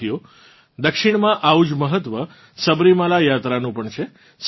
સાથીઓ દક્ષિણમાં આવું જ મહત્વ સબરીમાલા યાત્રાનું પણ છે